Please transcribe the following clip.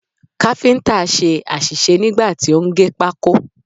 Káfíǹtà ṣe àṣìṣe nígbà tí ó ń gé pákó.